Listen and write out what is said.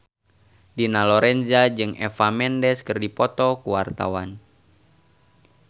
Dina Lorenza jeung Eva Mendes keur dipoto ku wartawan